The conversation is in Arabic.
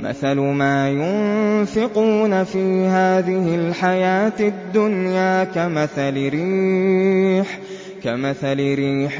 مَثَلُ مَا يُنفِقُونَ فِي هَٰذِهِ الْحَيَاةِ الدُّنْيَا كَمَثَلِ رِيحٍ